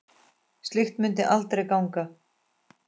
Slíkt mundi aldrei ganga.